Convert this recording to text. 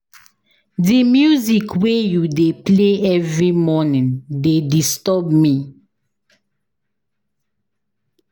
Di music wey you dey play every morning dey disturb me.